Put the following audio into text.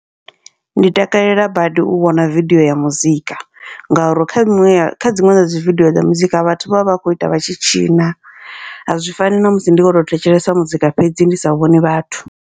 Ndi takalela badi u wana vidio ya muzika, ngauri kha miṅwe kha dziṅwe dzadzi vidio dza muzika vhathu vha vha vha kho ita vhatshi tshina, a zwi fani namusi ndi kho to thetshelesa muzika fhedzi ndi sa vhoni vhathu.